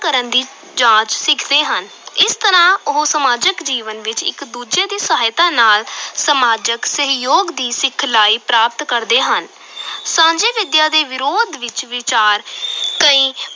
ਕਰਨ ਦੀ ਜਾਂਚ ਸਿੱਖਦੇ ਹਨ, ਇਸ ਤਰ੍ਹਾਂ ਉਹ ਸਮਾਜਿਕ ਜੀਵਨ ਵਿਚ ਇਕ ਦੂਜੇ ਦੀ ਸਹਾਇਤਾ ਨਾਲ ਸਮਾਜਿਕ ਸਹਿਯੋਗ ਦੀ ਸਿਖਲਾਈ ਪ੍ਰਾਪਤ ਕਰਦੇ ਹਨ ਸਾਂਝੀ ਵਿਦਿਆ ਦੇ ਵਿਰੋਧ ਵਿੱਚ ਵਿਚਾਰ ਕਈ